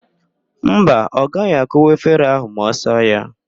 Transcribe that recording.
Mba, ọ gaghị akụwa efere ahụ ma ọ saa ya.